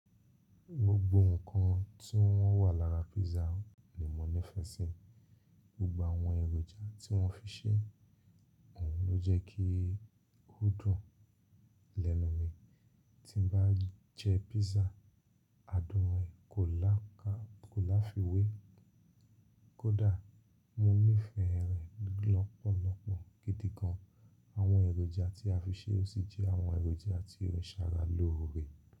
Gbogbo nǹkan tí o wà lára písà ni mo nífẹ̀ẹ́ sí, gbogbo àwọn èròjà tí wọ́n fi ṣe, òhun ló jẹ́ kí ó dùn lẹ́nu mi. Tí n bá jẹ písà, adùn rẹ̀ kò láfiwe kódà mo nífẹ̀ẹ́ rẹ̀ lọ́pọ̀lọpọ̀ gidi gan. Àwọn èròjà tí a fi ṣe o sì jẹ́ àwọn èròjà tí ó ń ṣara lóore.